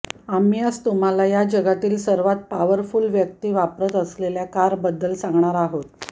आम्ही आज तुम्हाला या जगातील सर्वात पॉवरफुल व्यक्ती वापरत असलेल्या कारबद्दल सांगणार आहोत